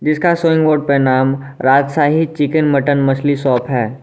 इसका showing board पर नाम राजशाही चिकन मटन मछली शॉप है।